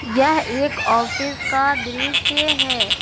यह एक ऑफिस का दृस्य है।